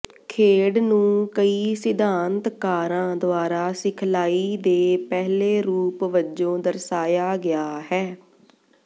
ਖੇਡ ਨੂੰ ਕਈ ਸਿਧਾਂਤਕਾਰਾਂ ਦੁਆਰਾ ਸਿਖਲਾਈ ਦੇ ਪਹਿਲੇ ਰੂਪ ਵਜੋਂ ਦਰਸਾਇਆ ਗਿਆ ਹੈ